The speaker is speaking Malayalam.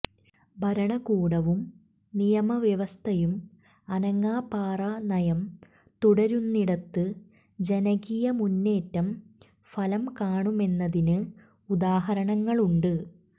ഭരണകൂടവും നിയമവ്യവസ്ഥയും അനങ്ങാപ്പാറ നയം തുടരുന്നിടത്ത് ജനകീയ മുന്നേറ്റം ഫലം കാണുമെന്നതിന് ഉദാഹരണങ്ങളുണ്ട്